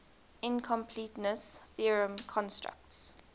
incompleteness theorem constructs